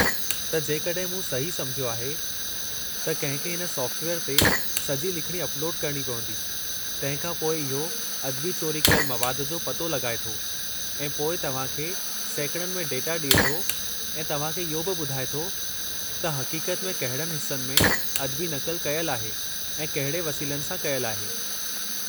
त, जेकड॒हिं मूं सही सम्झयो आहे, त कंहिं खे हिन सॉफ़्टवेयर ते सॼी लिखणी अपलोडु करणी पवंदी, तंहिं खां पोइ इहो अदबी चोरी कयलु मवादु जो पतो लॻाए थो ऐं पोइ तव्हां खे सैकड़नि में डेटा ॾिए थो, ऐं तव्हां खे इहो बि ॿुधाए थो त हक़ीक़त में कहिड़नि हिस्सनि में अदबी नक़ल कयलु आहे ऐं कहिड़े वसीलनि सां कयलु आहे।